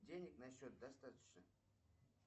денег на счет достаточно